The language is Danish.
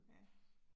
Ja